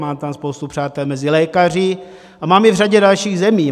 Mám tam spoustu přátel mezi lékaři a mám je v řadě dalších zemí.